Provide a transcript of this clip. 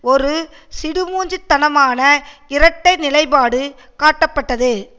ஒரு சிடுமூஞ்சி தனமான இரட்டை நிலைப்பாடு காட்டப்பட்டது